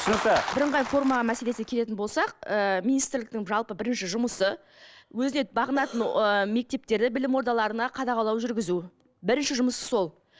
түсінікті бірыңғай форма мәселесіне келетін болсақ ііі министрліктің жалпы бірінші жұмысы өзіне бағынатын ыыы мектептеріне білім ордаларына қадағалау жүргізу бірінші жұмысы сол